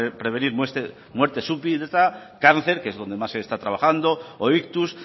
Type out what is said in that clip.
prevenir muerte súbita cáncer que es donde más se está trabajando o ictus